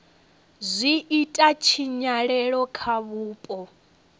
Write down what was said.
zwi ita tshinyalelo kha vhupo